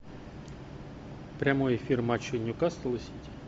прямой эфир матча ньюкасл и сити